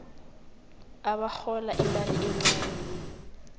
abarhola imali encani